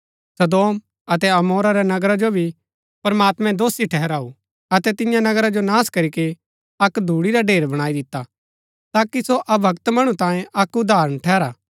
सदोम अतै अमोरा रै नगरा जो भी प्रमात्मैं दोषी ठहराऊ अतै तिन्या नगरा जो नाश करीके अक्क धूड़ी रा ढेर बणाई दिता ताकि सो अभक्त मणु तांये अक्क उदाहरण ठहरा